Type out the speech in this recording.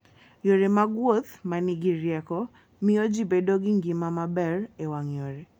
Yore mag wuoth ma nigi rieko, miyo ji bedo gi ngima maber e wang' yore.